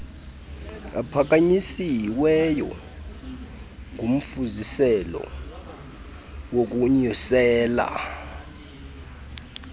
aphakanyisiweyo ngumfuziselo wokunyukela